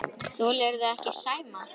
Þolirðu ekki Sæma?